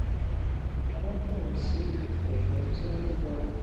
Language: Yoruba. wón bèrè sí lo kèké tó ń lo